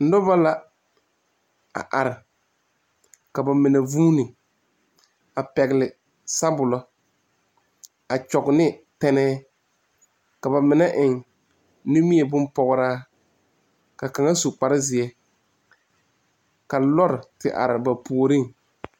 Noba la a are ka ba mine vuuni a pɛgle sabolɔ a kyɔgne tɛnɛɛ ka ba mine eŋ nimie bon pɔgraa ka kaŋ su bon zeɛ ka lɔr te are ba puoriŋ.